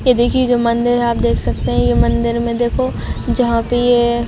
ये देखिये जो मंदिर है आप देख सकते है ये मंदिर में देखो जहाँ पे ये--